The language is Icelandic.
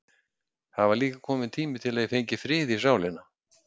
Það var líka kominn tími til að ég fengi frið í sálina.